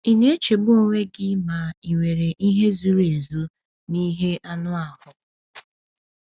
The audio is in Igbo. Ị na-echegbu onwe gị ma ị nwere ihe zuru ezu n’ihe anụ ahụ?